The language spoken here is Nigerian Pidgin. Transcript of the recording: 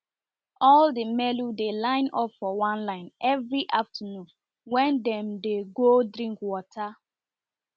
all the melu dey line up for one line every afternoon wen dem dey go drink water